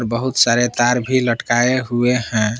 बहुत सारे तार भी लटकाये हुए हैं।